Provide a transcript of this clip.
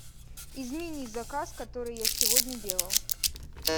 измени заказ который я сегодня делал